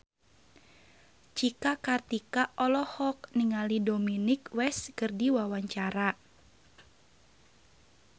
Cika Kartika olohok ningali Dominic West keur diwawancara